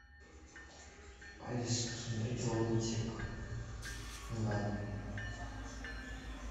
алиса посмотреть лунтик онлайн